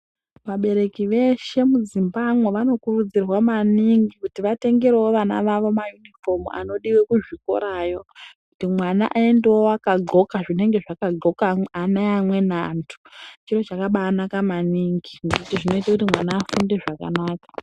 Vabereki veshe mu dzimbamo vano kurudzirwa maningi kuti vatengerewo vana vawo ma yunifomu anodiwe ku zvikora yo kuti mwana ayendewo aka ndxoka zvinenge zvaka ndxoka ana eamweni antu chiro chakabai naka maningi nekuti zvinooite kuti ana afunde zvakanaka.